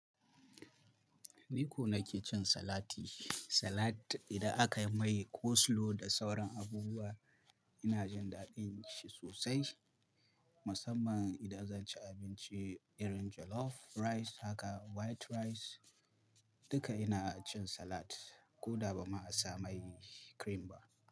Ni ko nake cin salati. Salad idan aka yi mai coleslaw da sauran abubuwa, ina jin daɗin shi sosai. Musamman idan zan ci abinci irin jollof rice, haka white rice, duka ina cin salad. Ko da ba ma a sa mai cream ba.